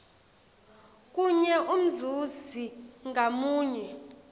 kunye umzuzi ngamunye